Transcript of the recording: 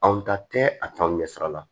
Anw ta tɛ a t'anw ɲɛsira la